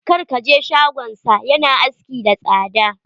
Kar ka je shagonsa. Ya na aski da tsada.